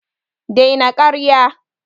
Dai na ƙarya